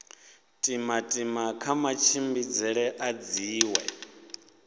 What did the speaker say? timatima kha matshimbidzele a dziṅwe